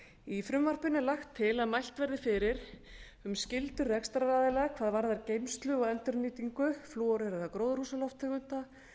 í frumvarpinu er lagt til að mælt verði fyrir um skyldur rekstraraðila hvað varðar geymslu og endurnýtingu flúoreraðra gróðurhúsalofttegunda